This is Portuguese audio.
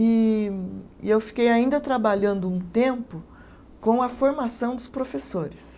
E e eu fiquei ainda trabalhando um tempo com a formação dos professores.